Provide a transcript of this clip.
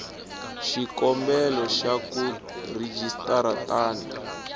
xikombelo xa ku rejistara tani